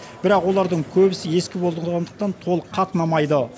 бірақ олардың көбісі ескі болғандықтан толық қатынамайды